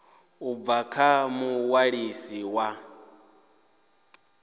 u bva kha muṅwalisi wa